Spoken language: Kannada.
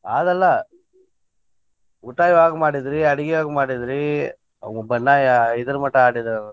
ಆದಲ್ಲಾ, ಊಟ ಯಾವಾಗ್ ಮಾಡಿದ್ರಿ, ಅಡ್ಗಿ ಯಾವಾಗ್ ಮಾಡಿದ್ರಿ? ಬಣ್ಣ ಐದರ ಮಟಾ ಆಡಿರಿ ಅನ್ನಾತಿರಿ.